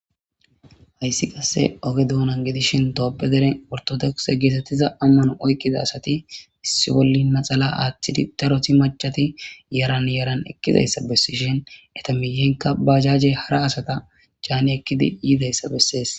Hayssi qasse oge doonan gedishin tophe deren ortodokixe geetettiza ammano oykkiza asati issi bolli maxala aaththidi daroti machati yaran yaran ekkizayssa bessishin eta miyenka bajajey hara asata caani ekkidi yidayssa bessees.